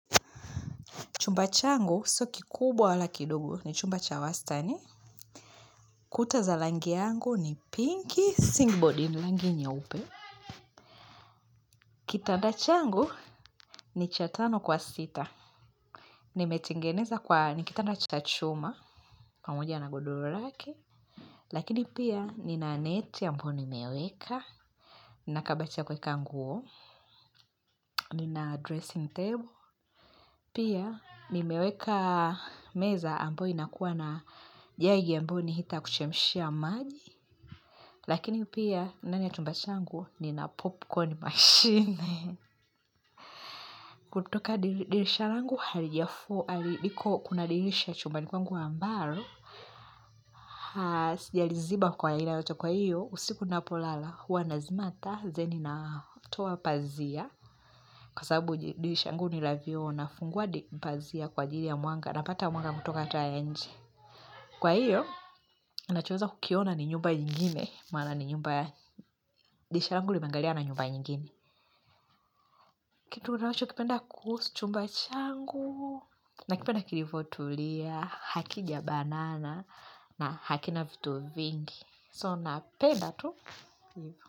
Chumba changu, sio kikubwa wala kidogo, ni chumba cha wastani. Kuta za langi yangu ni pinky, singboard, ni langi nyeupe. Kitanda changu ni cha tano kwa sita. Nimetingeneza kwa, ni kitanda cha chuma. Kwa pamoja na godoro lake. Lakini pia, nina neti ambayi nimeweka. Nina kabati ya kweka nguo. Nina dressing table. Pia nimeweka meza ambayo nakuwa na jaji ambao ni heater kuchemshia maji. Lakini pia ndani ya chumba changu nina popcorn machine. Kutoka dirisha langu halijafu, haliko kuna dirisha chumbani kwangu ambaro. Sijaliziba kwa hila yato kwa hiyo, usiku napolala huwa nazima taa, zeni natoa pazia. Kwa sababu dirisha angu nila vioo nafungua dipazia kwa jiri ya mwanga napata mwanga kutoka taa ya nje. Kwa hiyo, nachoza kukiona ni nyumba nyingine. Maana ni nyumba ya diisha angu limeangalia na nyumba nyingine. Kitu kutawacho kipenda kuhus, chumba changu. Nakipenda kilivotulia, hakijabanana na hakina vitu vingi. So, napenda tu.